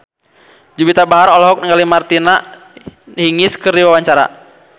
Juwita Bahar olohok ningali Martina Hingis keur diwawancara